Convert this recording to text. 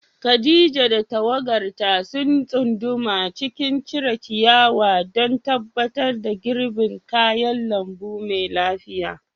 Khadija da tawagarta sun tsunduma cikin cire ciyawa don tabbatar da girbin kayan lambu mai lafiya.